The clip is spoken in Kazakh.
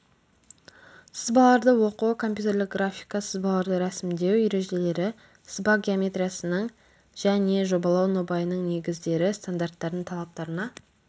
сызбаларды оқу компьютерлік графика сызбаларды рәсімдеу ережелері сызба геометриясының және жобалау нобайының негіздері стандарттардың талаптарына